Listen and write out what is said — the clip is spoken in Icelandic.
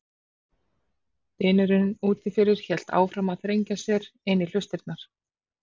Dynurinn úti fyrir hélt áfram að þrengja sér inn í hlustirnar.